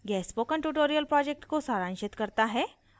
यह spoken tutorial project को सारांशित करता है